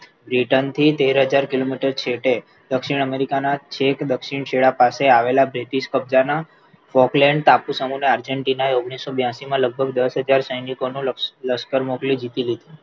Britain થી તેર હજાર કિલોમીટર છેટે દક્ષિણ america ના ચેક દક્ષિણ છેડા પાસે આવેલા British કબજાના Fockland ટાપુ સમૂહના Argentina ના ઓગણીસો બ્યાસી માં લગભગ દસ હજાર સૈનિકોનો લશ્કર મોકલી જીતી લીધું